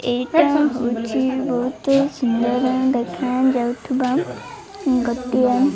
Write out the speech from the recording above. ଏଇଟା ହଉଚି ବହୁତ ସୁନ୍ଦର ଦେଖା ଯାଉଥିବା ଗୋଟିଏ --